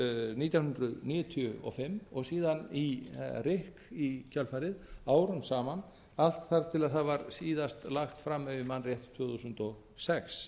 nítján hundruð níutíu og fimm og síðan í rykk í kjölfarið árum saman allt þar til það var síðast lagt fram ef ég man rétt tvö þúsund og sex